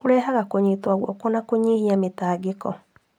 Kũrehaga kũnyitwo guoko na kũnyihia mĩtangĩko.